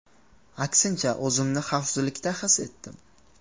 Aksincha, o‘zimni xavfsizlikda his etdim”.